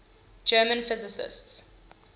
german physicists